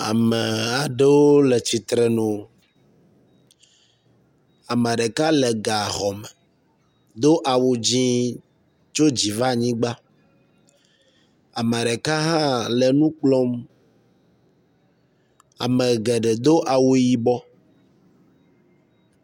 Ame aɖewo le tsitsrenu ameɖeka le gaxɔme edo awu dzĩ tso dzi. vanyigba ameɖeka hã le nukplɔm amegeɖe dó awu yibɔ